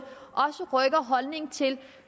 også rykker holdningen til